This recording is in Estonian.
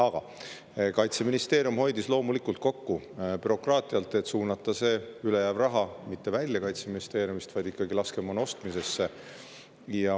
Aga Kaitseministeerium hoidis loomulikult kokku bürokraatialt, et suunata ülejääv raha mitte Kaitseministeeriumist välja, vaid ikkagi laskemoona ostmisesse.